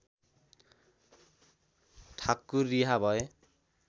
ठाकुर रिहा भए